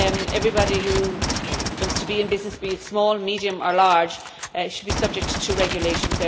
everybody who wants to be in business, be they small, medium or large, should be subject to regulations.